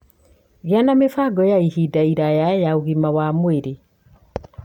Gĩa na mĩbango ya ihinda iraya ya ũgima mwega wa mwĩrĩ.